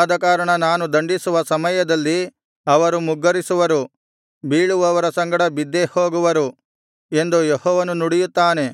ಆದಕಾರಣ ನಾನು ದಂಡಿಸುವ ಸಮಯದಲ್ಲಿ ಅವರು ಮುಗ್ಗರಿಸುವರು ಬೀಳುವವರ ಸಂಗಡ ಬಿದ್ದೇ ಹೋಗುವರು ಎಂದು ಯೆಹೋವನು ನುಡಿಯುತ್ತಾನೆ